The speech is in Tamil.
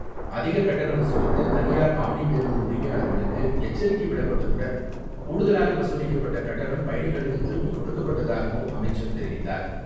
அதிக கட்டணம் வசூலித்த தனியார் ஆம்னி பேருந்து உரிமையாளர்களுக்கு எச்சரிக்கை விடப்பட்டதுடன், கூடுதலாக வசூலிக்கப்பட்ட கட்டணம் பயணிகளுக்கு திருப்பி கொடுக்கப்பட்டதாகவும் அமைச்சர் தெரிவித்தார்.